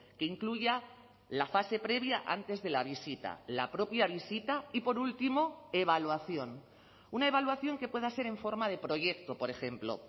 que incluya la fase previa antes de la visita la propia visita y por último evaluación una evaluación que pueda ser en forma de proyecto por ejemplo